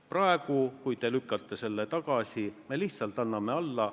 Praegu, kui te lükkate selle tagasi, me lihtsalt anname alla.